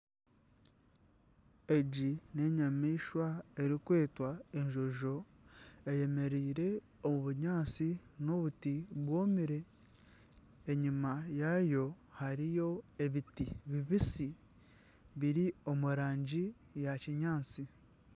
Egi n'enyamaishwa erikwetwa enjojo eyemereire omu bunyaatsi na obuti bwomire enyima yaayo hariyo ebiti bibitsi biri omu rangi ya kinyaatsi.